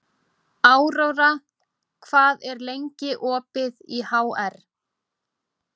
Aurora, hvað er lengi opið í HR?